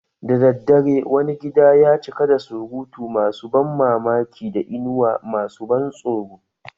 Da daddare, wani gida ya cika da surutu masu ban mamaki da inuwa masu ban tsoro